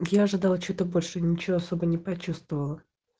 я ожидал что-то больше ничего особо не почувствовала